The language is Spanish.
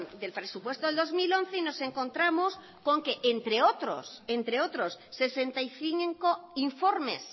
del presupuesto de dos mil once y nos encontramos con que entre otros sesenta y cinco informes